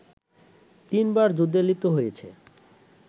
তিনবার যুদ্ধে লিপ্ত হয়েছে